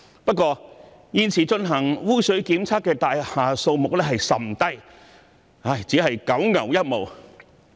不過，現時進行污水檢測的大廈數目甚少，只是九牛一毛。